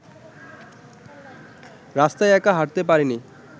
রাস্তায় একা হাঁটতে পারিনি